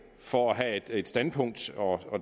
for at have et standpunkt og